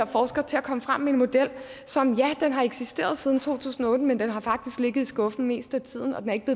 forskere til at komme frem med en model som ja har eksisteret siden to tusind og otte men den har faktisk ligget i skuffen det meste af tiden og den er ikke